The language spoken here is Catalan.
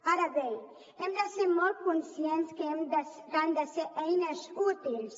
ara bé hem de ser molt conscients que han de ser eines útils